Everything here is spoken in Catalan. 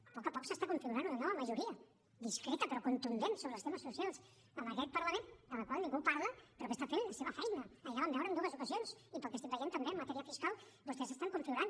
a poc a poc s’està configurant una nova majoria discreta però contundent sobre els temes socials en aquest parlament de la qual ningú parla però que està fent la seva feina ahir la vam veure en dues ocasions i pel que estic veient també en matèria fiscal vostès estan configurant